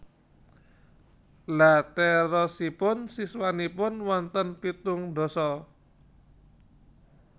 Lha terosipun siswanipun wonten pitung ndasa?